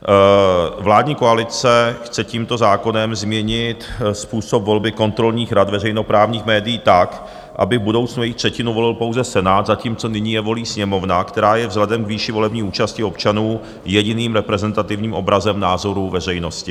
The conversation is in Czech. Vládní koalice chce tímto zákonem změnit způsob volby kontrolních rad veřejnoprávních médií tak, aby v budoucnu jich třetinu volil pouze Senát, zatímco nyní je volí Sněmovna, která je vzhledem k výši volební účasti občanů jediným reprezentativním obrazem názorů veřejnosti.